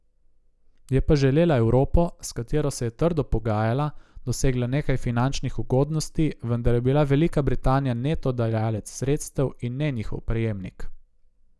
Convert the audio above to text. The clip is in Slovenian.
Je pa želela Evropo, s katero se je trdo pogajala, dosegla nekaj finančnih ugodnosti, vendar je bila Velika Britanija neto dajalec sredstev, in ne njihov prejemnik.